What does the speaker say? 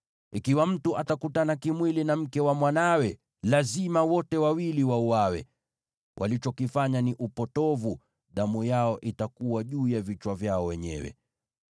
“ ‘Ikiwa mtu atakutana kimwili na mke wa mwanawe, lazima wote wawili wauawe. Walichokifanya ni upotovu; damu yao itakuwa juu ya vichwa vyao wenyewe.